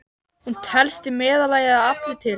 Hún telst í meðallagi að afli til.